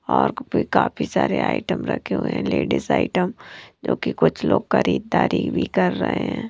और भी काफी सारे आइटम रखे हुए हैं लेडीज आइटम जो कि कुछ लोग खरीददारी भी कर रहे हैं।